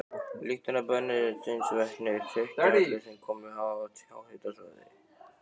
Lyktina af brennisteinsvetni þekkja allir sem komið hafa á háhitasvæði.